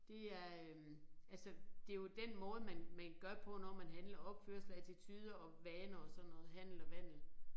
Det er øh altså det jo den måde man man gør det på når man handler opførsel attituder og vaner og sådan noget handel og vandel